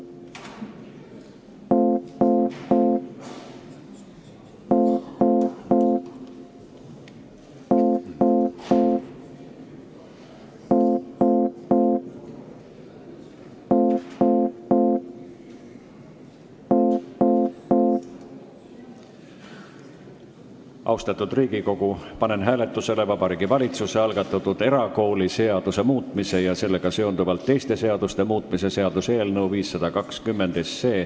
Austatud Riigikogu, panen hääletusele Vabariigi Valitsuse algatatud erakooliseaduse muutmise ja sellega seonduvalt teiste seaduste muutmise seaduse eelnõu 520.